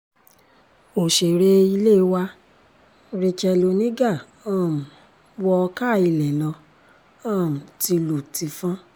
òṣèré ilé wa racheal oníga um wọ káa ilé lọ um tìlù-tìfọ́n